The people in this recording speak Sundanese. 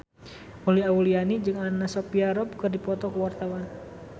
Uli Auliani jeung Anna Sophia Robb keur dipoto ku wartawan